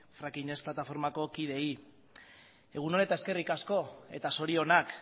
fracking ez plataformako kideei egun on eta eskerrik asko eta zorionak